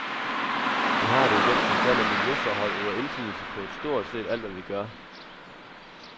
Det har det i den forstand, at miljøforhold øver indflydelse på stort set alt, hvad vi gør.